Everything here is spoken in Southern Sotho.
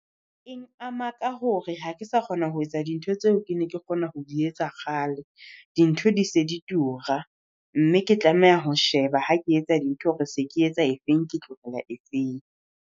Eng ama ka hore ha ke sa kgona ho etsa dintho tseo ke neng ke kgona ho di etsa kgale, dintho di se di tura. Mme ke tlameha ho sheba ha ke etsa dintho hore se ke etsa e feng, ke tlohela efeng.